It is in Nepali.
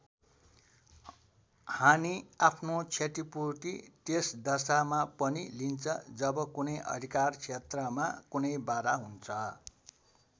हानि आफ्नो क्षतिपूर्ति त्यस दशामा पनि लिन्छ जब कुनै अधिकार क्षेत्रमा कुनै बाधा हुन्छ।